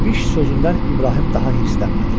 İbiş sözündən İbrahim daha hiddətlənmədi.